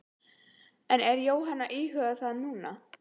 En er Jóhanna að íhuga það núna?